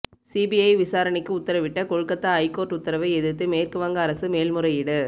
CBI விசாரணைக்கு உத்தரவிட்ட Kolkata high court உத்தரவை எதிர்த்து மேற்குவங்க அரசு மேல்முறையீடு